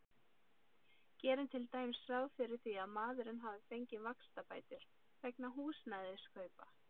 Gerum til dæmis ráð fyrir að maðurinn hafi fengið vaxtabætur vegna húsnæðiskaupa.